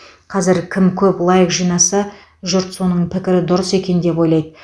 қазір кім көп лайк жинаса жұрт соның пікірі дұрыс екен деп ойлайды